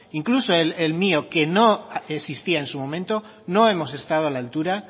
incluso el mío que no existía en su momento no hemos estado a la altura